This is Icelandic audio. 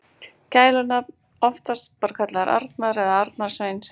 Gælunafn: Oftast bara kallaður Arnar eða Arnar Sveinn.